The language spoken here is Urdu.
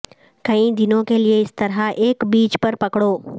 کئی دنوں کے لئے اس طرح ایک پیچ پر پکڑو